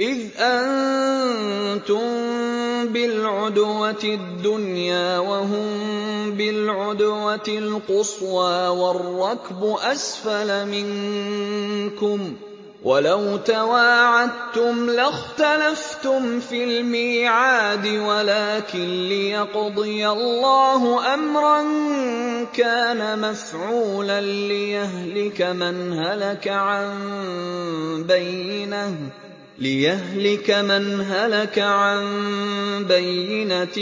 إِذْ أَنتُم بِالْعُدْوَةِ الدُّنْيَا وَهُم بِالْعُدْوَةِ الْقُصْوَىٰ وَالرَّكْبُ أَسْفَلَ مِنكُمْ ۚ وَلَوْ تَوَاعَدتُّمْ لَاخْتَلَفْتُمْ فِي الْمِيعَادِ ۙ وَلَٰكِن لِّيَقْضِيَ اللَّهُ أَمْرًا كَانَ مَفْعُولًا لِّيَهْلِكَ مَنْ هَلَكَ عَن بَيِّنَةٍ